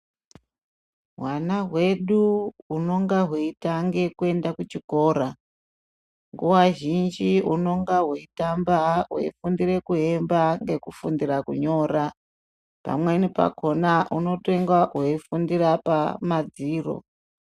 Hwana hwedu hunonga hweitange kuenda kuchikora nguwa zhinji hunonga hweitamba hweifundira kuemba ngekufundira kunyora pamweni pakona hunotenga hweifundira pamadziro.